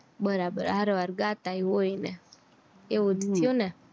બરાબર હારો હર ગાતા હોય ને એવું થયું ને